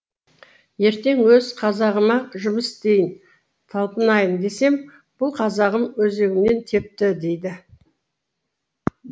ертең өз қазағыма жұмыс істейін талпынайын десем бұл қазағым өзегімнен тепті дейді